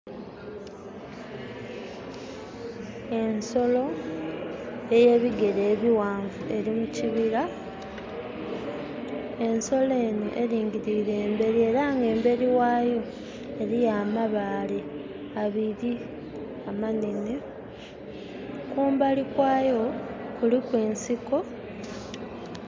Ensolo ey'ebigere ebighanvu eli mu kibira. Ensolo enho elingiliire mbeli era nga embeli ghayo eriyo amabaale abili amanhenhe. Kumbali kwayo, kuliku ensiko.